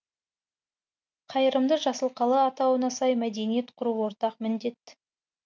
қайырымды жасыл қала атауына сай мәдениет құру ортақ міндет